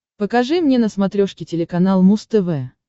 покажи мне на смотрешке телеканал муз тв